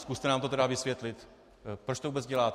Zkuste nám to tedy vysvětlit, proč to vůbec děláte.